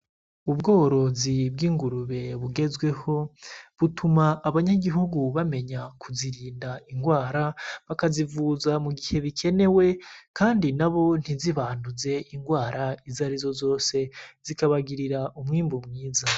Ubworozi bw'ingurube bugezweho, buruma abanyagihugu bamenya kuzirinda ingwara, bakazivuza mu gihe bikenewe kandi nabo ntizibanduze ingwara izarizo zose, zikabagirira umwimbu mwiza.